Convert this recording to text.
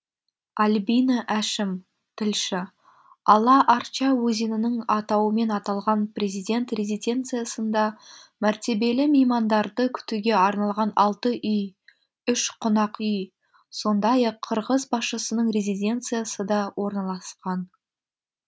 альбина әшім тілші ала арча өзенінің атауымен аталған президент резиденциясында мәртебелі меймандарды күтуге арналған алты үй үш қонақүй сондай ақ қырғыз басшысының резиденциясы да орналасқан